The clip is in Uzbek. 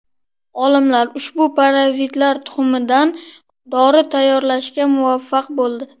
Olimlar ushbu parazitlar tuxumidan dori tayyorlashga muvaffaq bo‘ldi.